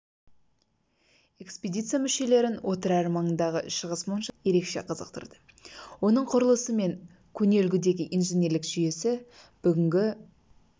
экспедиция мүшелерін отырар маңындағы шығыс моншасы ерекше қызықтырды оның құрылысы мен көне үлгідегі инженерлік жүйесі бүгінгі